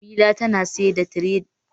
Jemila tana siyar da tiye da rini a kasuwa